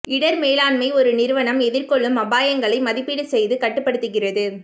இடர் மேலாண்மை ஒரு நிறுவனம் எதிர்கொள்ளும் அபாயங்களை மதிப்பீடு செய்து கட்டுப்படுத்துகிறது